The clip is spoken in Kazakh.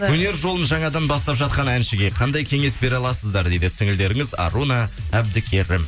өнер жолын жаңадан бастап жатқан әншіге қандай кеңес бере аласыздар дейді сіңілдеріңіз аруна әбдікерім